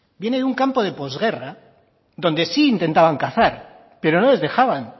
viene de un campo de posguerra donde sí intentaban cazar pero no les dejaban